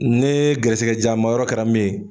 Ne gɛrɛsigɛ diyama yɔrɔ kɛra min ye